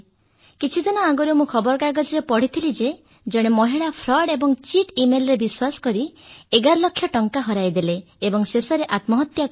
କିଛି ଦିନ ଆଗରୁ ମୁଁ ଖବରକାଗଜରେ ପଢ଼ିଥିଲି ଯେ ଫ୍ରଡ୍ ଏବଂ ଚିଟ୍ ଇମେଲରେ ବିଶ୍ୱାସ କରି ଜଣେ ମହିଳା 11 ଲକ୍ଷ ଟଙ୍କା ହରାଇଦେଲେ ଏବଂ ଶେଷରେ ଆତ୍ମହତ୍ୟା କଲେ